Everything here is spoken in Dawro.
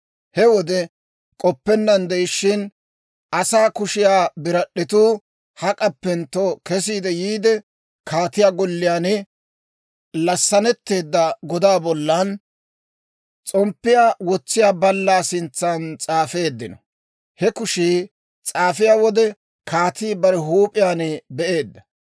He wode k'oppennaan de'ishshin, asaa kushiyaa birad'd'etuu hak'appentto kesiide yiide, kaatiyaa golliyaan lasanetteedda godaa bollan, s'omppiyaa wotsiyaa ballaa sintsan s'aafeedda. He kushii s'aafiyaa wode, kaatii bare huup'iyaan be'eedda.